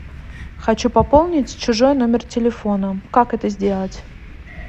хочу пополнить чужой номер телефона как это сделать